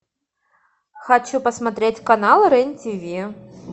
хочу посмотреть канал рен тиви